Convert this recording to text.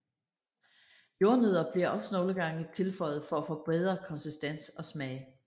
Jordnødder bliver også nogle gange tilføjet for at forbedre konsistens og smag